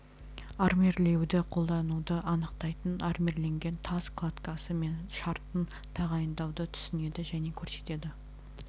армирлеуді қолдануды анықтайтын армирленген тас кладкасы мен шартын тағайындауды түсінеді және көрсетеді